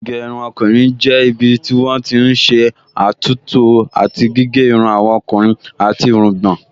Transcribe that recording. Ilé ìgẹrun ọkùnrin jẹ́ ibi tí wọ́n ti n ṣé àtúntò àti gígé irun àwọn ọkùnrin àti irungbọ̀n